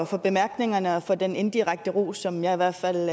for bemærkningerne og for den inddirekte ros som jeg i hvert fald